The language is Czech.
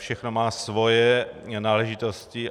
Všechno má svoje náležitosti.